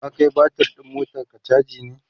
ka Kai batir ɗin motanka chaji ne?